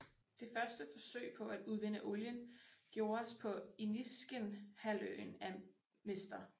Det første forsøg på at udvinde olien gjordes på Iniskinhalvøen af Mr